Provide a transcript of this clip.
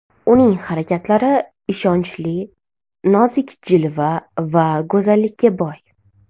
Uning harakatlari ishonchli, nozik jilva va go‘zallikka boy.